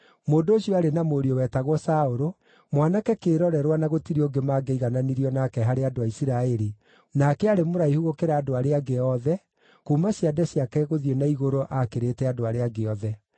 Mũndũ ũcio aarĩ na mũriũ wetagwo Saũlũ, mwanake kĩĩrorerwa na gũtirĩ ũngĩ mangĩaigananirio nake harĩ andũ a Isiraeli, nake aarĩ mũraihu gũkĩra andũ arĩa angĩ othe, kuuma ciande ciake gũthiĩ na igũrũ aakĩrĩte andũ arĩa angĩ othe.